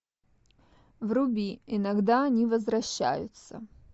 вруби иногда они возвращаются